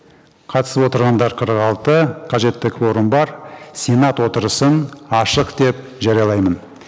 қатысып отырғандар қырық алты қажетті кворум бар сенат отырысын ашық деп жариялаймын